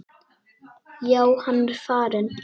Já, hann er farinn